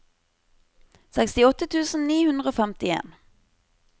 sekstiåtte tusen ni hundre og femtien